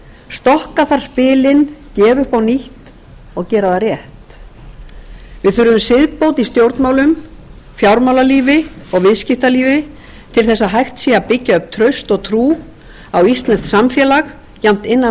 stokka þarf spilin gefa upp á nýtt og gera það við þurfum siðbót í stjórnmálum fjármálalífi og viðskiptalífi til að hægt sé að byggja upp traust og trú á íslenskt samfélag jafnt innan